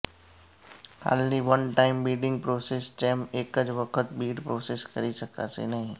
હાલની one time bidding process જેમ એક જ વખત બીડ પ્રોસેસ કરી શકાશે નહીં